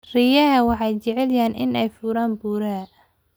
Riyaha waxay jecel yihiin inay fuulaan buuraha.